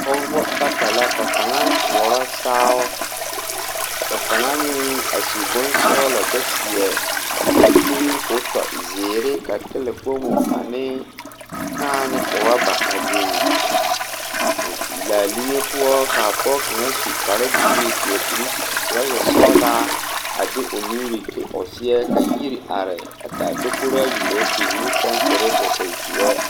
Pɔgebɔ bata la ka kaŋa tɔɔrɔ saao ka kaŋa meŋ a su bonsɔglɔ kyɛ seɛ mankure koo tɔ zeere ka tala kpomo anee kãã ne rɔba a biŋ laa liŋe poɔ kaa pɔɔ kaŋa su kparebluu seɛ kuri trɔza sɔglaa a de o nuure ti o seɛ ka yiri are a taa tokoraayi ka ba pille kyɛnserre koo e zeɛ.